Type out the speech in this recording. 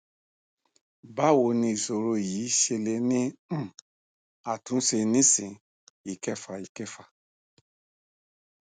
bawo ni isoro yi se le ni um atunse nisin ikefa ikefa